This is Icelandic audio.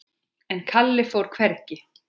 En Kalli fór hvergi.